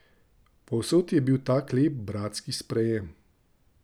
Povsod je bil tak lep bratski sprejem.